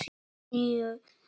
Níu vetra.